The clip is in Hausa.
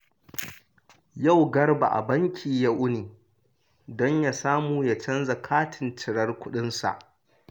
Yau Garba a banki ya wuni don ya samu ya canza katin cirar kuɗinsa